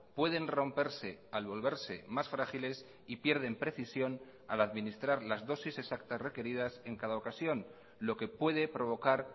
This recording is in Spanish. pueden romperse al volverse más frágiles y pierden precisión al administrar las dosis exactas requeridas en cada ocasión lo que puede provocar